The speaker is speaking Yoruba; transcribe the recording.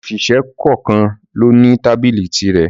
Òṣìṣẹ́ kọ̀kan lo ní tábìlì tirẹ̀